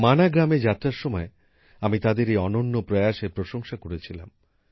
মানা গ্রামে যাত্রার সময় আমি তাদের এই অনন্য প্রয়াসের প্রশংসা করেছিলাম